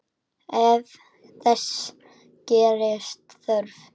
Ef þess gerist þörf